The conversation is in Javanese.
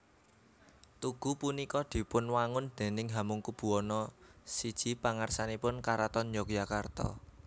Tugu punika dipunwangun déning Hamengkubuwana I pangarsanipun Karaton Yogyakarta